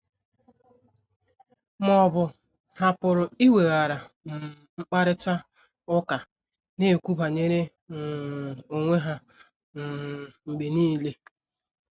Ma ọ bụ, ha pụrụ iweghara um mkparịta ụka, na - ekwu banyere um onwe ha um mgbe nile.